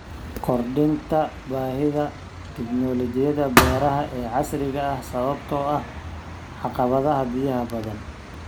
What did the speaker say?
Kordhinta baahida tiknoolajiyada beeraha ee casriga ah sababtoo ah caqabadaha biyaha badan.